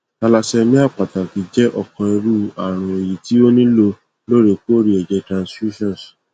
thallassemia pataki jẹ ọkan iru arun eyi ti o nilo loorekoore ẹjẹ transfusions